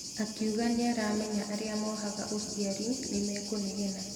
Akiuga nĩaramenya arĩa mohaga ũciari nĩmekũnegena.